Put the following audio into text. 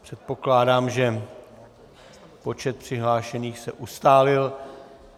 Předpokládám, že počet přihlášených se ustálil.